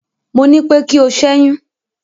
mọ ní pé kí o ṣẹyun